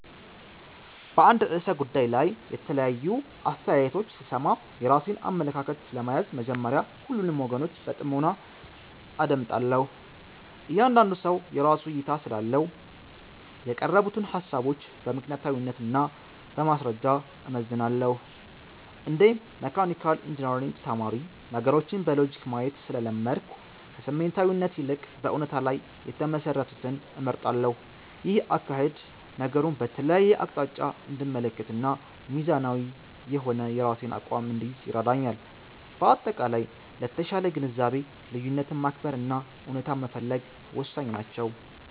በአንድ ርዕሰ ጉዳይ ላይ የተለያዩ አስተያየቶች ስሰማ፣ የራሴን አመለካከት ለመያዝ መጀመሪያ ሁሉንም ወገኖች በጥሞና አዳምጣለሁ። እያንዳንዱ ሰው የራሱ እይታ ስላለው፣ የቀረቡትን ሃሳቦች በምክንያታዊነት እና በማስረጃ እመዝናለሁ። እንደ መካኒካል ኢንጂነሪንግ ተማሪ፣ ነገሮችን በሎጂክ ማየት ስለለመድኩ፣ ከስሜታዊነት ይልቅ በእውነታ ላይ የተመሰረቱትን እመርጣለሁ። ይህ አካሄድ ነገሩን በተለያየ አቅጣጫ እንድመለከትና ሚዛናዊ የሆነ የራሴን አቋም እንድይዝ ይረዳኛል። በአጠቃላይ፣ ለተሻለ ግንዛቤ ልዩነትን ማክበር እና እውነታን መፈለግ ወሳኝ ናቸው።